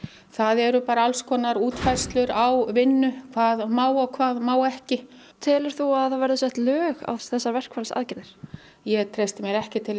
það eru allskonar útfærslur á vinnu hvað má og hvað má ekki telur þú að það verði sett lög á þessar verkfallsaðgerðir ég treysti mér ekki til